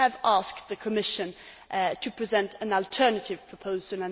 We have asked the Commission to present an alternative proposal.